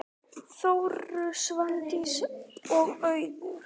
Þórunn, Svandís og Auður.